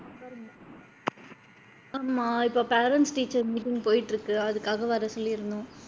ஆமா, இப்ப parents teachers meeting போயிட்டு இருக்கு அதுக்காக வர சொல்லி இருந்தோம்.